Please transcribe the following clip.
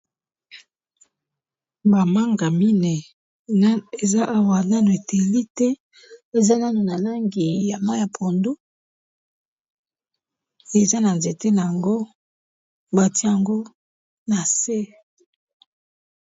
Ba manga minéi eza awa nanu ételi te eza nanu na langi ya mayi pondu, eza na nzéte na yango batié yango na se.